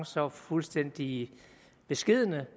så fuldstændig beskedne